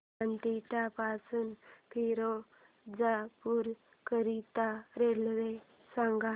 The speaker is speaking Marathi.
बठिंडा पासून फिरोजपुर करीता रेल्वे सांगा